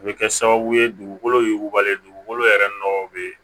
O bɛ kɛ sababu ye dugukolo yugu yugubalen dugukolo yɛrɛ nɔgɔ bɛ